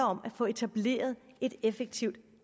om at få etableret et effektivt